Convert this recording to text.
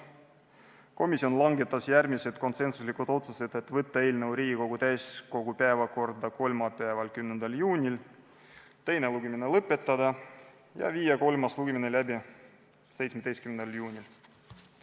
Komisjon langetas järgmised konsensuslikud otsused: võtta eelnõu Riigikogu täiskogu päevakorda kolmapäevaks, 10. juuniks, teine lugemine lõpetada ja viia kolmas lugemine läbi 17. juunil.